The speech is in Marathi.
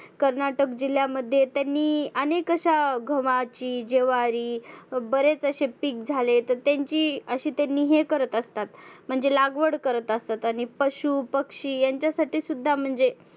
कर्नाटक जिल्ह्यामध्ये त्यांनी आनेक अशा गव्हाची, ज्वारी बरेच असे पिक झाले की त्यांची अशी त्यांनी हे करत असतात, म्हणजे लागवड करत असतात. पशु, पक्षी यांच्या साठी सुद्धा म्हणजे